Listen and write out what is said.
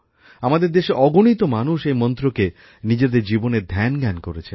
আমাদের দেশে অগণিত মানুষ এই মন্ত্রকে নিজেদের জীবনের ধ্যান জ্ঞান করেছেন